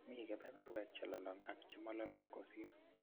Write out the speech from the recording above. Mi kebeberwek chelolong' ak che mololong' kosir.